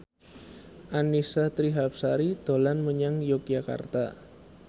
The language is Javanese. Annisa Trihapsari dolan menyang Yogyakarta